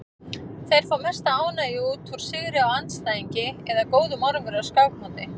Þeir fá mesta ánægju út úr sigri á andstæðingi eða góðum árangri á skákmóti.